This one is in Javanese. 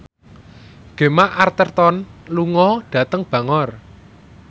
Gemma Arterton lunga dhateng Bangor